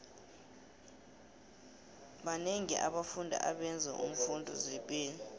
banengi abafundi abenzo imfundo zepilo